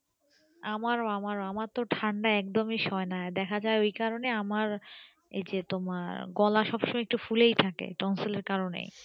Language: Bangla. আমার ও আমার ও আমার ও আমার তো ঠান্ডা একদমই সয় না দেখা যাই ওই কারণে আমার এই যে তোমার গলা সব সময় একটু ফুলেই থাকে tonsil এর কারণে